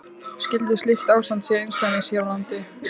Skyldi slíkt ástand sé einsdæmi hér á landi?